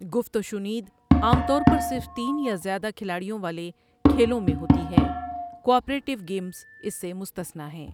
گفت و شنید عام طور پر صرف تین یا زیادہ کھلاڑیوں والے کھیلوں میں ہوتی ہے، کوآپریٹو گیمز اس سے مستثنیٰ ہیں۔